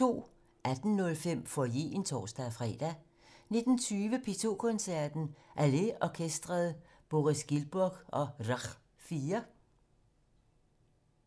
18:05: Foyeren (tor-fre) 19:20: P2 Koncerten - Hallé Orkestret, Boris Giltburg, og Rakh 4